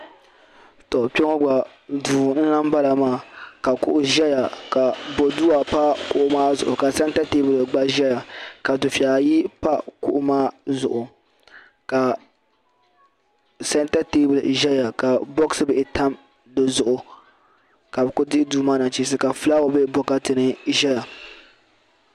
To kpeŋɔ gba duu n lahi boŋɔ maa ka kuɣu ʒɛya ka bodua pa kuɣu maa zuɣu ka santa teebuli gba ʒɛya ka dufeya ayi pa kuɣu maa zuɣu ka santa teebuli ʒɛya ka boɣasi bihi tam dizuɣu ka bɛ kuli dihi duu maa nachinsi ka filaawa be bokati ni ʒɛya.